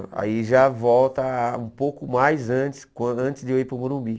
Aí já volta um pouco mais antes quando antes de eu ir para o Morumbi.